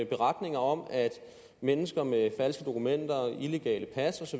beretninger om at mennesker med falske dokumenter illegale pas